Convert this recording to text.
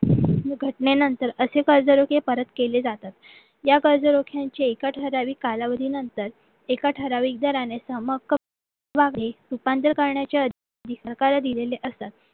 घटनेनंतर असे कर्जरोखे परत केले जातात या कर्जरोख्यांचे एका ठराविक कालावधीनंतर एका ठराविक दराने सम रूपांतर करण्याच्या सहकारी दिलेले असतात